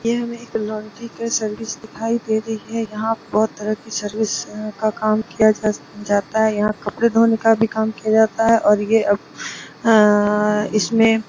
ये हम एक लॉन्ड्री की सर्विस दिखाई दे रही है यहां बहुत तरह की सर्विस का काम किया जा जाता है यहां कपड़े धोने का भी काम किया जाता है और यह अममअअअ इसमें--